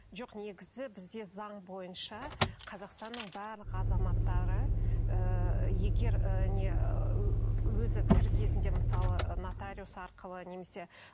жоқ негізі бізде заң бойынша қазақстанның барлық азаматтары ыыы егер ыыы не ыыы өзі тірі кезінде мысалы нотариус арқылы немесе